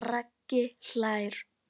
Raggi hlær.